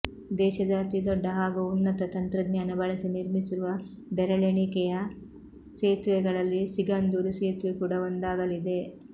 ದೇಶದ ಅತೀ ದೊಡ್ಡ ಹಾಗೂ ಉನ್ನತ ತಂತ್ರಜ್ಞಾನ ಬಳಸಿ ನಿರ್ಮಿಸಿರುವ ಬೆರಳೆಣಿಕೆಯ ಸೇತುವೆಗಳಲ್ಲಿ ಸಿಗಂದೂರು ಸೇತುವೆ ಕೂಡ ಒಂದಾಗಲಿದೆ